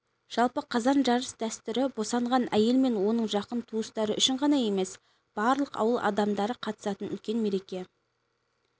жалпы қазан жарыс дәстүрі босанған әйел мен оның жақын туыстары үшін ғана емес барлық ауыл адамдары қатысатын үлкен мереке